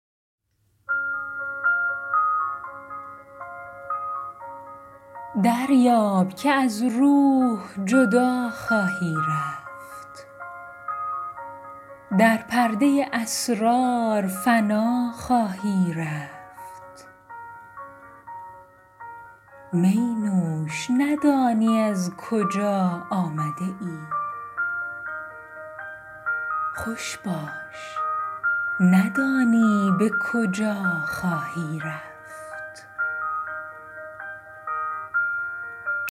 دریاب که از روح جدا خواهی رفت در پرده اسرار فنا خواهی رفت می نوش ندانی از کجا آمده ای خوش باش ندانی به کجا خواهی رفت